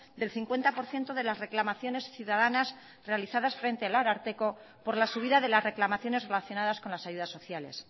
del cincuenta por ciento de las reclamaciones ciudadanas realizadas frente al ararteko por la subida de las reclamaciones relacionadas con las ayudas sociales